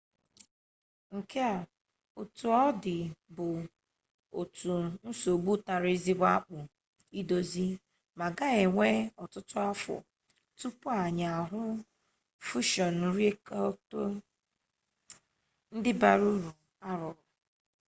nke a otu ọ dị bụ otu nsogbu tara ezigbo akpụ idozi ma ga-ewe ọtụtụ afọ tupu anyị ahụ fushọn rịaktọ ndị bara uru a rụrụ